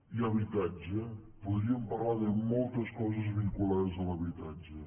i habitatge podríem parlar de moltes coses vinculades a l’habitatge